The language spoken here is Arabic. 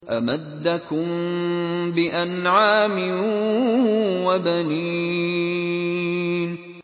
أَمَدَّكُم بِأَنْعَامٍ وَبَنِينَ